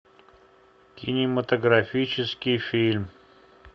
кинематографический фильм